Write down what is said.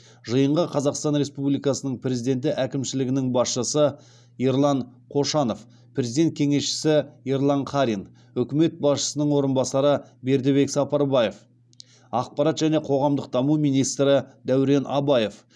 жиынға қазақстан республикасының президенті әкімшілігінің басшысы ерлан қошанов президент кеңесшісі ерлан қарин үкімет басшысының орынбасары бердібек сапарбаев ақпарат және қоғамдық даму министрі дәурен абаев